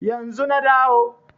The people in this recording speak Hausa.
Yanzu na dawo